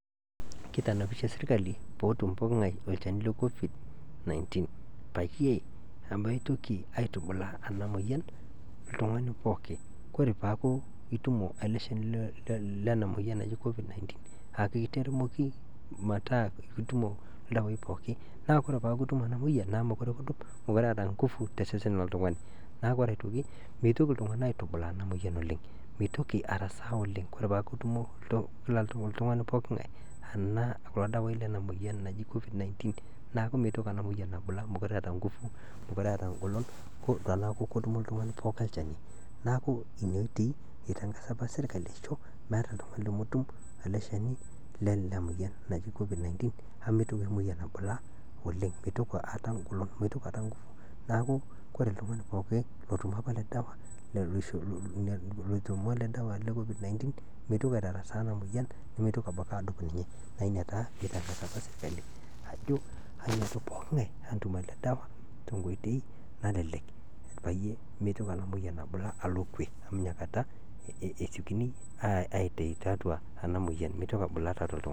Kitanapishe sirkali pee etum pookin ng'ae olchani le Covid-19. Peyie meitoki aitubulaa ena moyian oltung'ani pookin. Kore peeku itumo ele shani lena moyian naji Covid-19, akiteramoki metaa itumo ildawaii pooki, naa ore peeku kitumo ena moyian, naa meekure kidup, mekure eeta ingufu tosesen lol`tung'ani. Naa meitoki itung'ana aitubulaa ena moyian oleng', meitoki arasaa oleng' peeku itumo oltung'ani pooki ng'ae kulo dawaii lena moyian naji Covid-19, neaku mitoki ena moyian abulaa amu mekure eeta engolon, teneeku ketumo oltung'ani pooki olchani. Neaku ina oitoi itangaza apa sirkali aisho, meeta oltung'ani lemetum ele shani lena moyian naji Covid-19, nemeitoki ena moyian abulaa oleng'. Neeku ore oltung'ani pookin otutumo apa ele dawa, meitoki aitarasaa ena moyian, nemeitoki abaki adup ninye. Naa ina apa pee itangasa sirkali ajo pee etum pookin ng'ae ele dawa tenkoitoi nalelek pee meitoki ena moyian abulaa alo kwe.